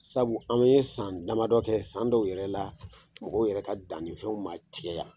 Sabu an ye san damadɔ kɛ , san dɔw yɛrɛ la , mɔgɔw yɛrɛ ka dannifɛnw ma tigɛ yan !